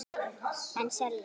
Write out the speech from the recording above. En selja.